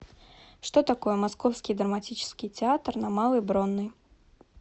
что такое московский драматический театр на малой бронной